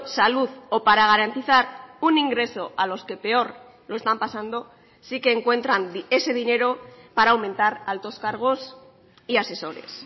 salud o para garantizar un ingreso a los que peor lo están pasando sí que encuentran ese dinero para aumentar altos cargos y asesores